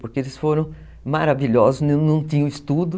Porque eles foram maravilhosos, não tinham estudo.